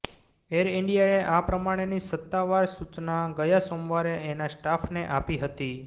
air ઈન્ડિયાએ આ પ્રમાણેની સત્તાવાર સૂચના ગયા સોમવારે એના સ્ટાફને આપી હતી